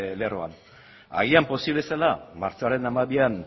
lerroan agian posible zela martxoaren hamabian